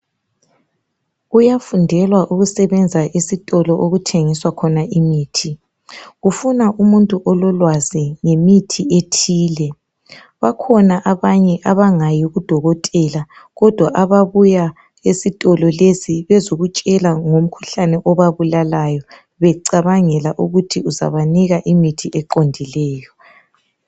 Kuyafundelwa ukusebenza esitolo okuthengiswa khona imithi. Kufuna umuntu ololwazi ngemithi ethile. Bakhona abanye abangayi kudokotela ,kodwa ababuya esitolo lesi bezokutshela ngomkhuhlane obabulalayo ,becabangela ukuthi uzabanika imithi eqondileyo.